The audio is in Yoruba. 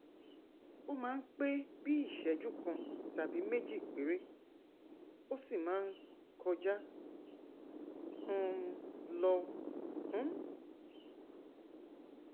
ó máa ń pé bíi ìṣẹjú kan tàbí méjì péré ó sì máa ń kọjá um lọ um